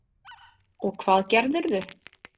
Og hvað gerðirðu?